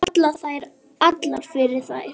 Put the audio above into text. Falla þær allar fyrir þér?